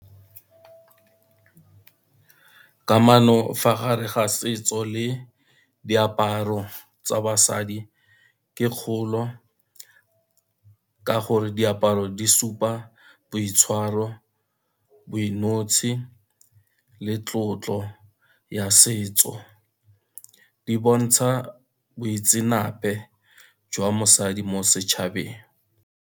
Kamano fa gare ga setso le diaparo tsa basadi ke kgolo, ka gore diaparo di supa boitshwaro, boinotshi le tlotlo ya setso, di bontsha boitseanape jwa mosadi mo setšhabeng.